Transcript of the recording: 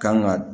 Kan ga